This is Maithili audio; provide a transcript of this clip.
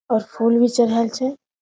और फूल भी चढ़ाल छै।